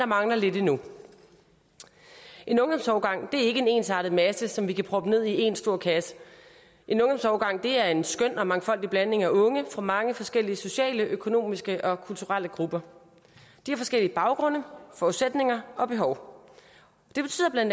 mangler lidt endnu en ungdomsårgang er ikke en ensartet masse som vi kan proppe ned i én stor kasse en ungdomsårgang er en skøn og mangfoldig blanding af unge fra mange forskellige sociale økonomiske og kulturelle grupper de har forskellige baggrunde forudsætninger og behov det betyder bla